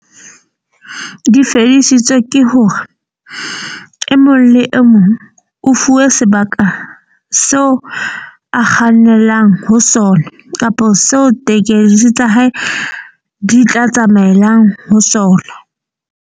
Di fedisitswe ke hore e mong le e mong o fuwe sebaka seo a kgannelang ho sona, kapa seo tekesi tsa hae di tla tsamaelang ho sona.